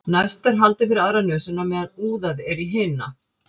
næst er haldið fyrir aðra nösina á meðan úðað er í hina